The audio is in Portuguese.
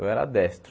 Eu era destro.